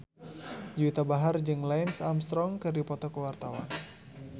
Juwita Bahar jeung Lance Armstrong keur dipoto ku wartawan